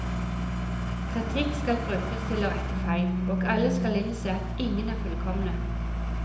Kritikk skal brukes til å rette feil, og alle skal innse at ingen er fullkomne.